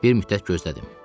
Bir müddət gözlədim.